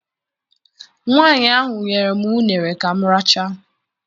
Nwaanyị ahụ nyere m uṅere ka m rachaa.